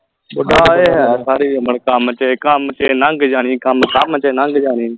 ਹਾਂ ਇਹ ਹੈ ਸਾਰੀ ਉਮਰ ਕੰਮ ਤੇ ਕੰਮ ਤੇ ਨੰਗ ਜਾਣੀ ਕੰਮ ਕੰਮ ਤੇ ਨੰਗ ਜਾਣੀ